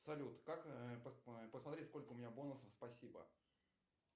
салют как посмотреть сколько у меня бонусов спасибо